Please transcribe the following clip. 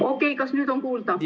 Okei, kas nüüd on kuulda?